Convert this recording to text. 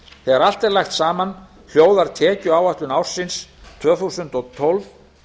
þegar allt er lagt saman hljóðar tekjuáætlun ársins tvö þúsund og tólf